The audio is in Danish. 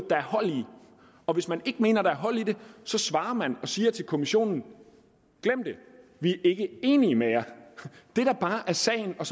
og hvis man ikke mener at der er hold i det så svarer man og siger til kommissionen glem det vi er ikke enige med jer det der bare er sagen og